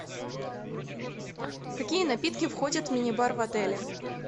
какие напитки входят в мини бар в отеле